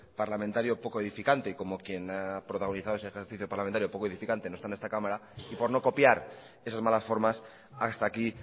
parlamentario poco edificante y como quien ha protagonizado ese ejercicio parlamentario poco edificante no está en esta cámara y por no copiar esas malas formas hasta aquí